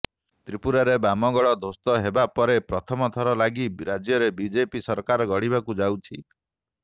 ତ୍ରିପୁରାରେ ବାମଗଡ ଧ୍ୱସ୍ତ ହେବା ପରେ ପ୍ରଥମ ଥର ଲାଗି ରାଜ୍ୟରେ ବିଜେପି ସରକାର ଗଢିବାକୁ ଯାଉଛି